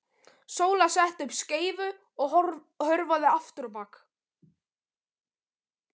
Sóla setti upp skeifu og hörfaði aftur á bak.